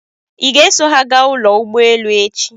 Ị ga-eso ha gaa ụlọ ụgbọelu echi?